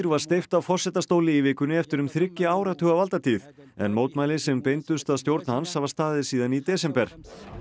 var steypt af forsetastóli í vikunni eftir um þriggja áratuga valdatíð en mótmæli sem beindust að stjórn hans hafa staðið síðan í desember